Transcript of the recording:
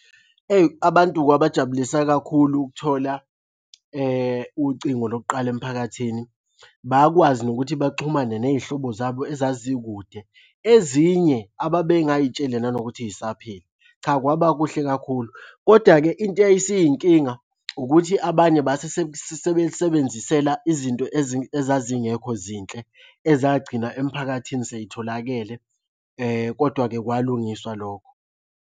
Eyi abantu kwabajabulisa kakhulu ukuthola ucingo lokuqala emphakathini. Bakwazi nokuthi baxhumane ney'hlobo zabo ezazikude ezinye ababengay'tsheli nanokuthi y'saphila. Cha kwaba kuhle kakhulu kodwa-ke into eyayisiyinkinga ukuthi abanye base sebelibenzisela izinto ezazingekho zinhle, ezagcina emphakathini sey'tholakele, kodwa-ke kwalungiswa lokho.